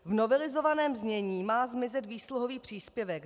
V novelizovaném znění má zmizet výsluhový příspěvek.